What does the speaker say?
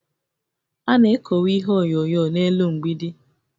A na-ekowe ihe onyonyo n'elu mgbidi